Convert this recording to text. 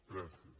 gràcies